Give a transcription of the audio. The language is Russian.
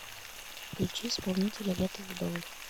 включи исполнителя ветл удалых